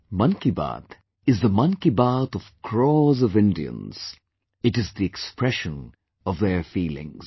'Mann Ki Baat' is the 'Mann Ki Baat' of crores of Indians, it is the expression of their feelings